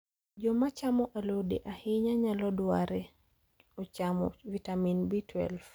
Jo machamo alode ahinya nyalo dware ochamo vitamin B12.